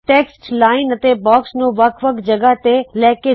text line ਅਤੇ box ਨੂੰ ਵੱਖ ਵੱਖ ਜਗਹ ਤੇ ਲੈ ਕੇ ਜਾਓ